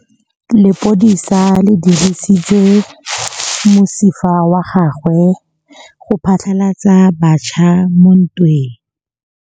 Lepodisa le dirisitse mosifa wa gagwe go phatlalatsa batšha mo ntweng.